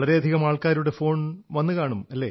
വളരെയധികം ആൾക്കാരുടെ ഫോൺ വന്നു കാണും